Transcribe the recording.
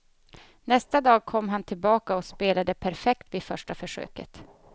Nästa dag kom han tillbaka och spelade perfekt vid första försöket.